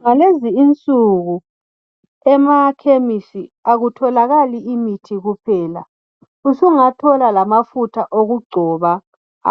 Ngalezi insuku emakhemesi akutholakala imithi kuphela usungathola lamafutha okugcoba